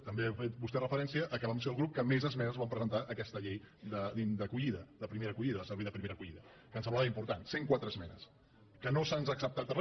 també hi ha fet vostè referència que vam ser el grup que més esmenes vam presentar a aquesta llei d’acollida de primera acollida el servei de primera acollida que ens semblava important cent quatre esmenes que no se’ns ha acceptat re